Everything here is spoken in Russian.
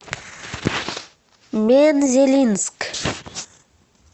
мензелинск